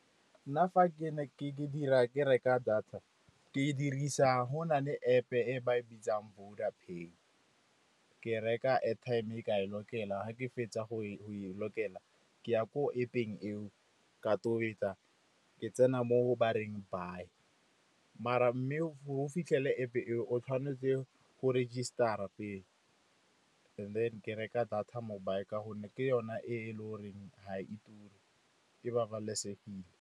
Nna fa ke dira ke reka data, ke dirisa go na le App-e ba e bitsang Voda Pay. Ke reka airtime ka e lokela. Ga ke fetsa go e lokela ke ya ko App-eng eo ka tobetsa. Ke tsena mo ba reng buy. Mme, o fitlhele App-e eo, tshwanetse go register-a pele, and then ke reka data mobile ka gonne ke yone e le goreng ga e ture, e babalesegile.